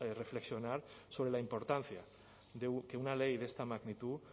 reflexionar sobre la importancia de que una ley de esta magnitud